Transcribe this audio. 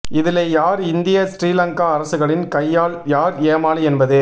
இதிலை யார் இந்திய சிறீலங்க அரசுகளின் கையாள் யார் ஏமாளி என்பது